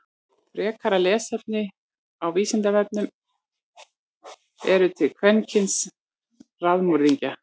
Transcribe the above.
Frekara lesefni á Vísindavefnum: Eru til kvenkyns raðmorðingjar?